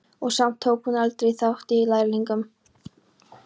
Og samt tók hún aldrei þátt í Lærlingnum.